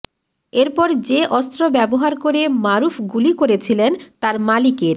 এরপর যে অস্ত্র ব্যবহার করে মারুফ গুলি করেছিলেন তার মালিকের